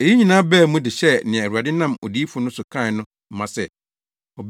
Eyi nyinaa baa mu de hyɛɛ nea Awurade nam odiyifo no so kae no ma se: